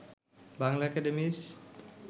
বাংলা একাডেমির